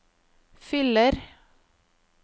fyller